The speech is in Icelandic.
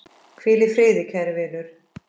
Hvíl í friði, kæri vinur!